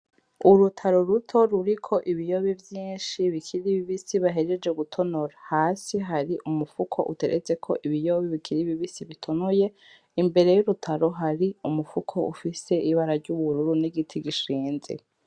Urutaro ruto ruriko ibiyobe vyinshi bikiri bibisi bahejeje gutonora. Hasi hari umufuko uteretseko ibiyobe bikiri bibisi bitonoye, imbere y'urutaro hari umufuko ufise ibara ry'ubururu n'igiti gishinze.